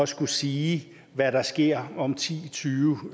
skulle sige hvad der sker om ti tyve